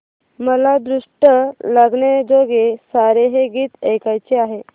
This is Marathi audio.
मला दृष्ट लागण्याजोगे सारे हे गीत ऐकायचे आहे